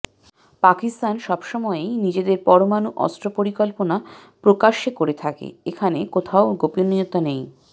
পাকিস্তান সব সময়েই নিজেদের পরমাণু অস্ত্র পরিকল্পনা প্রকাশ্যে করে থাকে এখানে কোথাও গোপনীয়তা নেই